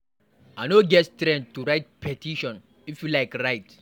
I no get Strength to write petition. If you like write.